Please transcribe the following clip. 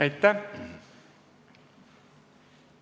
Aitäh!